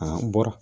A bɔra